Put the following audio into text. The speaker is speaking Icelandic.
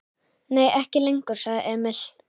Nei, ekki lengur, sagði Emil.